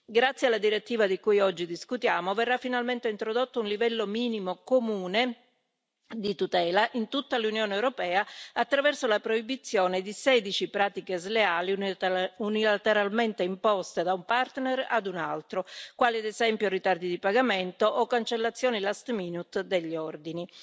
Grazie alla direttiva di cui oggi discutiamo verrà finalmente introdotto un livello minimo comune di tutela in tutta l'Unione europea attraverso la proibizione di 16 pratiche sleali unilateralmente imposte da un partner ad un altro, quali ad esempio i ritardi di pagamento o le cancellazioni last minute degli ordini.